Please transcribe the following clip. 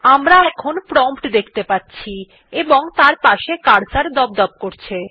আমরা এখন প্রম্পট দেখতে পাচ্ছি এবং তার পাশে একটি কার্সর দপদপ করছে